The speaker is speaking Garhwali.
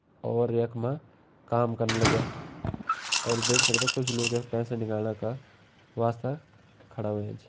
और यख मा काम कन लगयां और देख सकदा कुछ लोग यख पैंसा निकलणा का वास्‍ता खड़ा होयां छ।